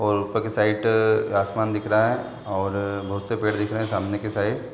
और ऊपर के साइड आसमान दिख रहा है और बहुत से पेड़ दिख रहे हैं सामने के साइड ।